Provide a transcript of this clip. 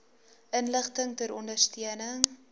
inligting ter ondersteuning